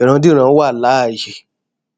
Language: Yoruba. ìrandíran wà láàyè